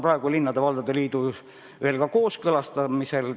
See on linnade ja valdade liidus kooskõlastamisel.